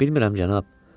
Bilmirəm, cənab.